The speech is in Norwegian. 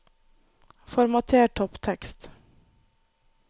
Formater topptekst